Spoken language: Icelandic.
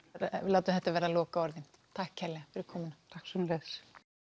við látum þetta verða lokaorðin takk kærlega fyrir komuna takk sömuleiðis